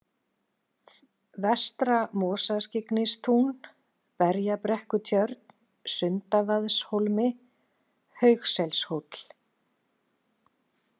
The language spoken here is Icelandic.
Vestra-Mosaskyggnistún, Berjabrekkutjörn, Sundavaðshólmi, Haugselshóll